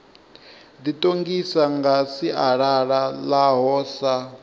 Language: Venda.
ḓiṱongisa nga sialala ḽaho sa